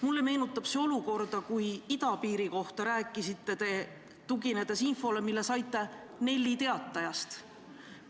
Mulle meenutab see olukorda, kus te rääkisite idapiirist, tuginedes infole, mille saite Nelli Teatajast.